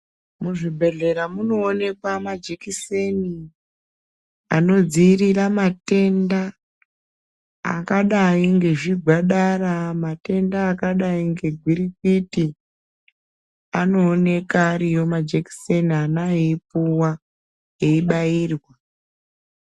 Muzvibhedhlera munoonekwa majekiseni inodzivirira matenda akadai nezvigwadara matenda akadai negwirikwiti anoonekwa ariyo majekiseni ana eyipuwa eyi bayirwa.